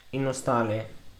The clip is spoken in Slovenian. In ostali?